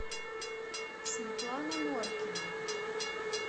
светлана норкина